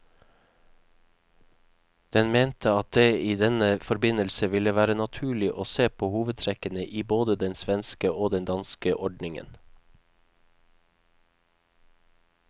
Den mente at det i denne forbindelse ville være naturlig å se på hovedtrekkene i både den svenske og den danske ordningen.